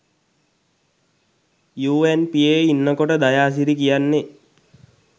යූඇන්පීයේ ඉන්නකොට දයාසිරි කියන්නෙ